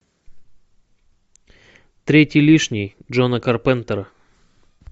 третий лишний джона карпентера